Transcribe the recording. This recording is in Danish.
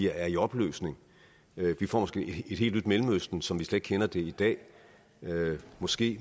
er i opløsning vi får måske et helt nyt mellemøsten som vi slet ikke kender det i dag måske